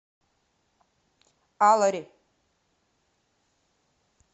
алари